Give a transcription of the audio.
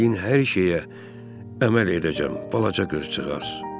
Dediyin hər şeyə əməl edəcəm, balaca qızcıqaz.